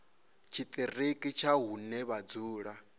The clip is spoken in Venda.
tshiṱiriki tsha hune vha dzula